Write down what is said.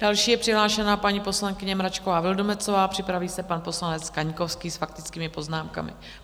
Další je přihlášená paní poslankyně Mračková Vildumetzová, připraví se pan poslanec Kaňkovský, s faktickými poznámkami.